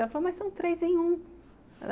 Ela falou, mas são três em um.